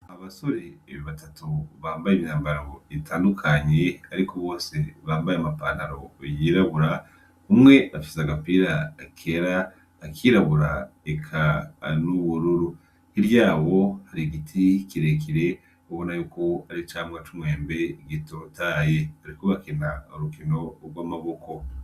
Abasore ibi batatu bambaye imyambara itandukanyi, ariko bose bambaye amapandaro yirabura umwe afise agapira akera akirabura eka an'uwururu iryabo hari igiti kirekire ubona yuko ari cambwa c'umwembe gitotaye, ariko bakenama arukino urwo amaboko.